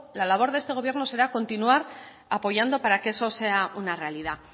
la labor de este gobierno será continuar apoyando para que eso sea una realidad